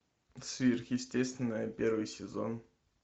сверхъестественное первый сезон